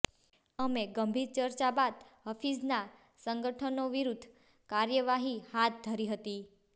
અમે ગંભીર ચર્ચા બાદ હફીઝના સંગઠનો વિરૂદ્ધ કાર્યવાહી હાથ ધરી હતી